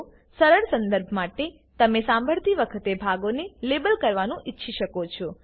સરળ સંદર્ભ માટે તમે સાંભળતી વખતે ભાગોને લેબલ કરવાનું ઈચ્છી શકો છો